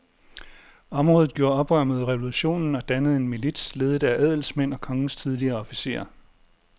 Området gjorde oprør mod revolutionen og dannede en milits ledet af adelsmænd og kongens tidligere officerer.